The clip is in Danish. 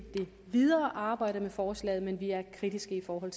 videre arbejde med forslaget men vi er kritiske i forhold